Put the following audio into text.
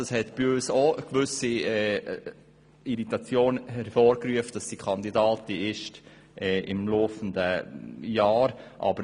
Es hat auch bei uns eine gewisse Irritation hervorgerufen, dass sie Kandidatin für die Regierungsratswahlen ist.